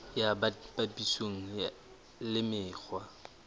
ya bt papisong le mekgwa